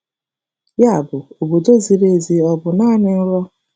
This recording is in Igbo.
Yabụ, obodo ziri ezi ọ um bụ naanị nrọ?